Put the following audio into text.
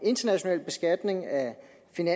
ny